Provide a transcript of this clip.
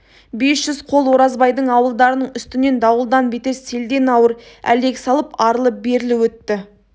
бес жүз қол оразбайдың ауылдарының үстінен дауылдан бетер селден ауыр әлек салып арлы-берлі өтті